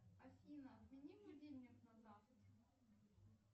афина отмени будильник на завтра